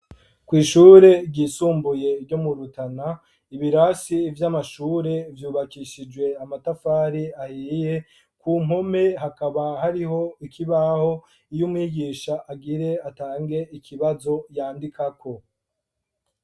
Kw'ishure ryisumbuye ryo mu Rutana ibirasi vy'amashure vyubakishijwe amatafari ahiye , ku mpome hakaba hariho ikibaho iyo umwigisha agire atange ikibazo yandikako.